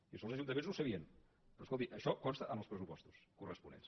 i això els ajuntaments no ho sabien però escolti això consta en els pressupostos corresponents